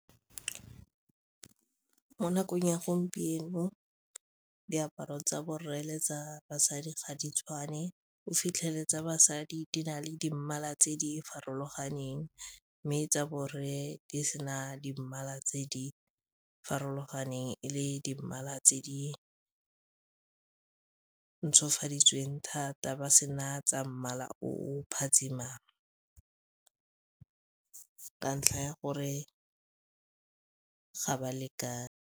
Mo nakong ya gompieno diaparo tsa borre le tsa basadi ga di tshwane o fitlheletse basadi di na le di mmala tse di farologaneng mme tsa borre di sena di mmala tse di farologaneng, e le di mmala tse di ntshofaditsweng thata ba sena tsa mmala o phatsimang ka ntlha ya gore ga ba lekane.